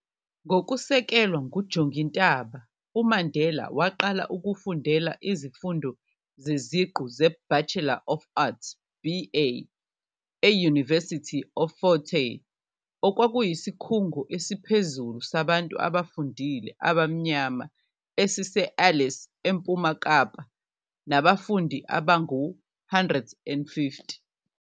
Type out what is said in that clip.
Ngokusekelwa nguJongintaba, uMandela waqala ukufundela izifundo zeziqu ze-Bachelor of Arts, BA, eUniversity of Fort Hare, okwakuyisikhungo esiphezulu sabantu abafundile abamnyama esise-Alice, eMpuma Kapa, nabafundi abangu-150.